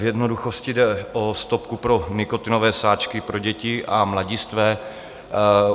V jednoduchosti jde o stopku pro nikotinové sáčky pro děti a mladistvé.